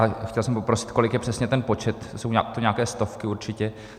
A chtěl jsem poprosit, kolik je přesně ten počet, jsou to nějaké stovky určitě.